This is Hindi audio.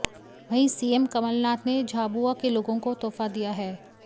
वहीं सीएम कमलनाथ ने झाबुआ के लोगों को तोहफा दिया है